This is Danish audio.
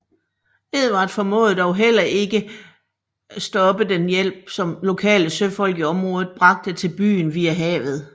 Edvard formåede dog heller ikke stoppe den hjælp som lokale søfolk i området bragt til byen via havet